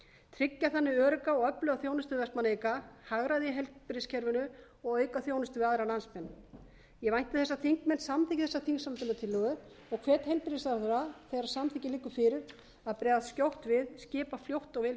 tryggja þannig örugga og öfluga þjónustu við vestmann eyinga hagræði í heilbrigðiskerfinu og að auka þjónustu við aðra landsmenn ég vænti þess að þingmenn samþykki þessa þingsályktunartillögu og hvet heilbrigðisráðherra þegar samþykki liggur fyrir að bregðast skjótt við skipa fljótt og vel í